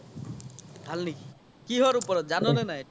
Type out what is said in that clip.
ভাল নেকি, কিহৰ ওপৰত জান নে নাই